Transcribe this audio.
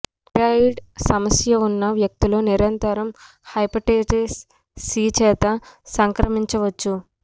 thyroid సమస్య ఉన్న వ్యక్తులు నిరంతరం హెపటైటిస్ సి చేత సంక్రమించవచ్చు